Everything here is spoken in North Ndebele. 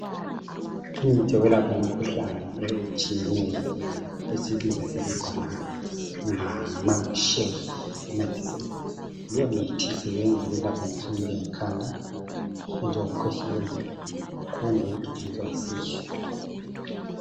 Imithi eyelapha imikhuhlane etshiyeneyo esiyibiza sithi khona ngama shelf medicine leyo mithi ilapha imkhuhlane enjengekhanda enjengokukhwehlela kumbe ukugijinyiswa yisisu.